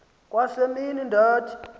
kwa semini ndathi